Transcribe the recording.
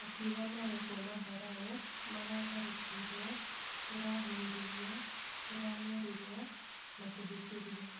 Akiuga marekwo matharaũ, maratharĩkĩrwo, tũrahinyĩrĩrio, tũranyarirwo na kũhĩtĩrio.